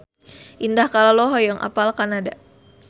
Indah Kalalo hoyong apal Kanada